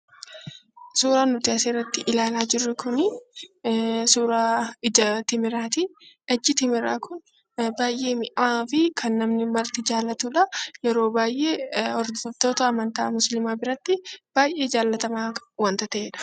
Suuraan nuti as irratti ilaalaa jirru kun suuraa ija timiraati. Iji timiraa kun baay'ee mi'aawaa fi kan namni marti jaalatu dha. Yeroo baay'ee hordoftoota amantii Muslimaa biratti baay'ee jaallatamaa wanta ta'eedha.